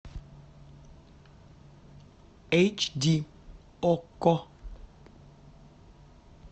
эйч ди окко